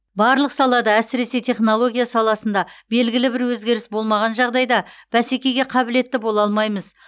барлық салада әсіресе технология саласында белгілі бір өзгеріс болмаған жағдайда бәсекеге қабілетті бола алмаймыз